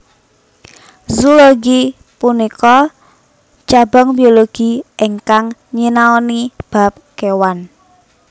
Zoologi punika cabang biologi ingkang nyinaoni bab kewan